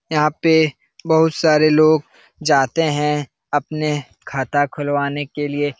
यहाँ पे बहुत सारे लोग जाते है अपने खता खुलवाने के लिए ।